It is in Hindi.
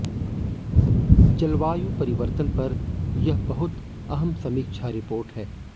जलवायु परिवर्तन पर यह बहुत अहम समीक्षा रिपोर्ट है